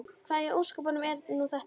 Hvað í ósköpunum er nú þetta?